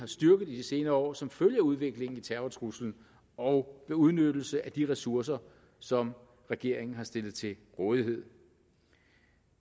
styrket i de senere år som følge af udviklingen i terrortruslen og ved udnyttelse af de ressourcer som regeringen har stillet til rådighed